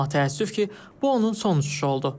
Amma təəssüf ki, bu onun son uçuşu oldu.